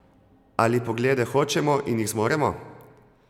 Ali Poglede hočemo in jih zmoremo?